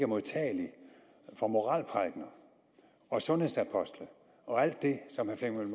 modtagelig for moralprædikener sundhedsapostle og alt det som herre flemming